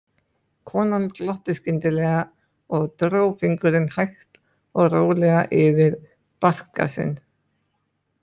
Konan glotti skyndilega og dró fingurinn hægt og rólega yfir barka sinn.